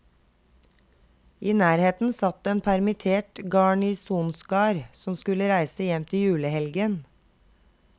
I nærheten satt en permittert garnisonskar som skulle reise hjem til julehelgen.